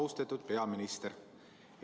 Austatud peaminister!